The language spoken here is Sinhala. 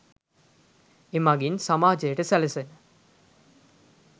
එමඟින් සමාජයට සැලසෙන